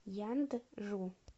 янджу